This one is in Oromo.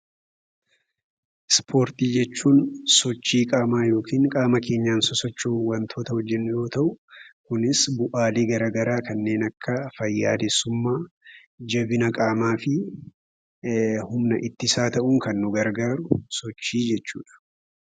Ispoortii jechuun sochii qaamaa yookiin qaama keenyaan sosocho'uun waa hojjennu yammuu ta'uu kunis faayidaalee garaa garaa kan akka fayyaalessummaa, jabina qaamaa fi humna ittisaa ta'uuf kan nu gargaaruu dha.